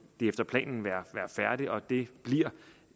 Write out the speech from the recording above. efter planen være færdigt og det bliver